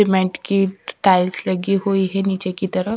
Cement की tiles लगी हुई है नीचे की तरफ।